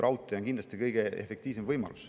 Raudtee on kindlasti kõige efektiivsem võimalus.